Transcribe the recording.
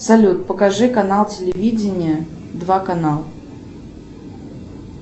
салют покажи канал телевидения два канал